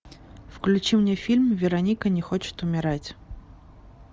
включи мне фильм вероника не хочет умирать